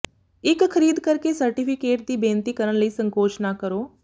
ਇੱਕ ਖਰੀਦ ਕਰ ਕੇ ਸਰਟੀਫਿਕੇਟ ਦੀ ਬੇਨਤੀ ਕਰਨ ਲਈ ਸੰਕੋਚ ਨਾ ਕਰੋ